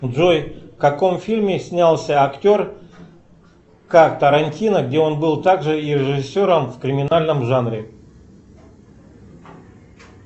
джой в каком фильме снялся актер как тарантино где он был также и режиссером в криминальном жанре